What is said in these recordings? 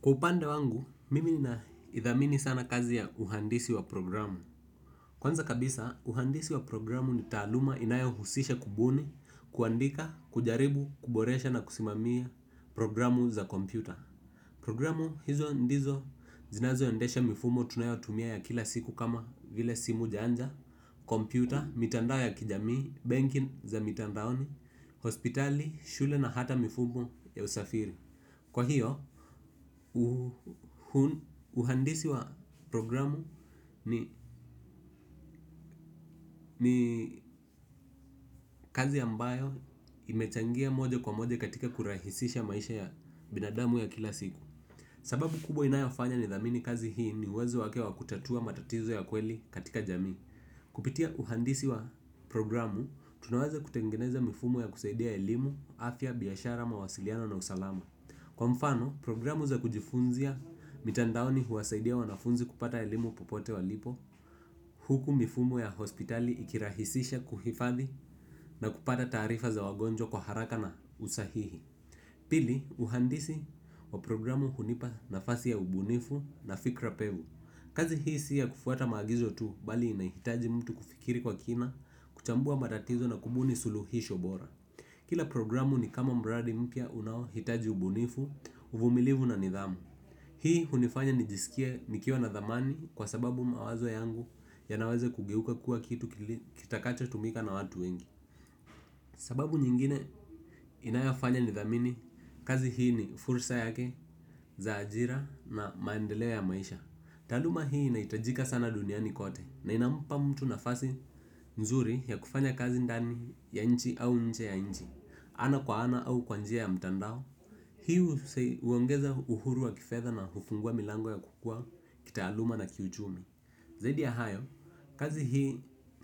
Kwa upande wangu, mimi naidhamini sana kazi ya uhandisi wa programu. Kwanza kabisa, uhandisi wa programu ni taaluma inayohusisha kubuni kuandika, kujaribu, kuboresha na kusimamia programu za kompyuta. Programu hizo ndizo zinazoendesha mifumo tunayotumia ya kila siku kama vile simu janja. Kompyuta, mitandao ya kijamii, banking za mitandaoni, hospitali, shule na hata mifumo ya usafiri. Kwa hiyo, uhandisi wa programu ni ni kazi ambayo imechangia moja kwa moja katika kurahisisha maisha ya binadamu ya kila siku. Sababu kubwa inayofanya nidhamini kazi hii ni uwezo wake wa kutatua matatizo ya kweli katika jamii. Kupitia uhandisi wa programu, tunaweza kutengeneza mifumo ya kusaidia elimu, afya, biashara, mawasiliano na usalama. Kwa mfano, programu za kujifunzia, mitandaoni huwasaidia wanafunzi kupata elimu popote walipo, huku mifumo ya hospitali ikirahisisha kuhifadhi na kupata taarifa za wagonjwa kwa haraka na usahihi. Pili, uhandisi wa programu hunipa nafasi ya ubunifu na fikra pevu. Kazi hii si ya kufuata maagizo tu, bali inahitaji mtu kufikiri kwa kina, kuchambua matatizo na kubuni suluhisho bora. Kila programu ni kama mradi mpya unaohitaji ubunifu, uvumilivu na nidhamu. Hii hunifanya nijisikie nikiwa na dhamani kwa sababu mawazo yangu yanaweza kugeuka kuwa kitu kitakachotumika na watu wengi. Sababu nyingine inayofanya nidhamini, kazi hii ni fursa yake za ajira na maendeleo ya maisha. Taaluma hii inahitajika sana duniani kote na inampa mtu nafasi nzuri ya kufanya kazi ndani ya nchi au nje ya nchi. Ana kwa ana au kwa njia ya mtandao. Hii huongeza uhuru wa kifedha na hufungua milango ya kukua, kitaaluma na kiuchumi. Zaidi ya hayo, kazi hii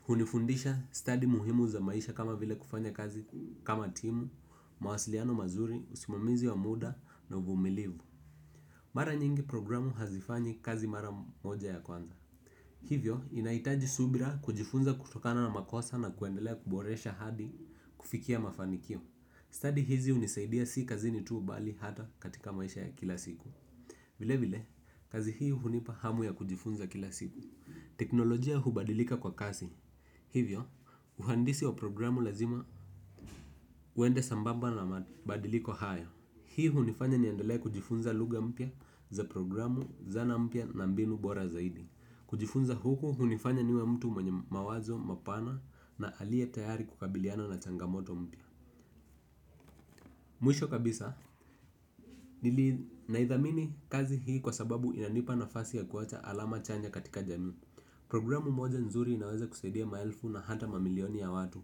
hunifundisha stadi muhimu za maisha kama vile kufanya kazi kama timu mawasiliano mazuri, usimamizi wa muda na uvumilivu. Mara nyingi programu hazifanyi kazi mara moja ya kwanza. Hivyo, inahitaji subira kujifunza kutokana na makosa na kuendelea kuboresha hadi kufikia mafanikio. Stadi hizi hunisaidia si kazini tu bali hata katika maisha ya kila siku. Vile vile, kazi hii hunipa hamu ya kujifunza kila siku. Teknolojia hubadilika kwa kasi hivyo uhandisi wa programu lazima uende sambamba na mabadiliko haya. Hii hunifanya niendelee kujifunza lugha mpya za programu, zana mpya na mbinu bora zaidi. Kujifunza huku hunifanya niwe mtu mwenye mawazo, mapana na aliye tayari kukabiliana na changamoto mpya. Mwisho kabisa, nili naidhamini kazi hii kwa sababu inanipa nafasi ya kuwacha alama chanya katika jami. Programu moja nzuri inaweza kusaidia maelfu na hata mamilioni ya watu.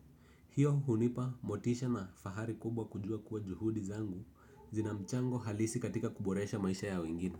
Hiyo hunipa motisha na fahari kubwa kujua kuwa juhudi zangu zina mchango halisi katika kuboresha maisha ya wengine.